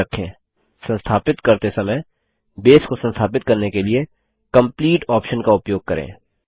याद रखें संस्थापित करते समय बेस को संस्थापित करने के लिए कंप्लीट ऑप्शन का उपयोग करें